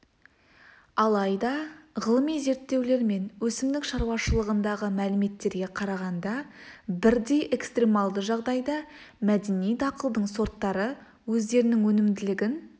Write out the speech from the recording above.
алайда ғылыми зерттеулер мен өсімдік шаруашылығындағы мәліметтерге қарағанда бірдей экстремалды жағдайда мәдени дақылдың сорттары өздерінің өнімділігін